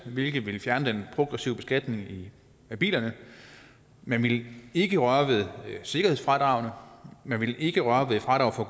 hvilket ville fjerne den progressive beskatning af bilerne man ville ikke røre ved sikkerhedsfradragene man ville ikke røre ved fradraget for